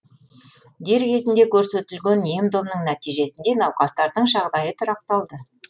дер кезінде көрсетілген ем домның нәтижесінде науқастардың жағдайы тұрақталды